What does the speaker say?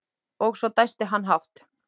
Og svo dæsti hann hátt.